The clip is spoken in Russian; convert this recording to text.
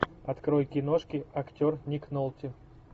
открой киношки актер ник нолти